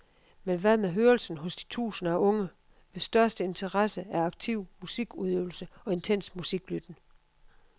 Men hvad med hørelsen hos de tusinder af unge, hvis største interesse er aktiv musikudøvelse og intens musiklytten?